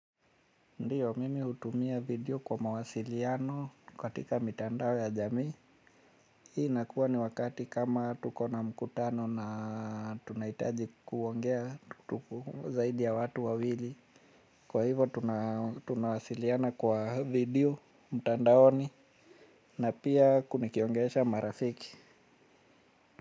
Ndiyo mimi hutumia video kwa mawasiliano katika mitandao ya jamii. Hii inakuwa ni wakati kama tuko na mkutano na tunahitaji kuongea zaidi ya watu wawili. Kwa hivo tunawasiliana kwa video mtandaoni na pia huku nikiongelesha marafiki.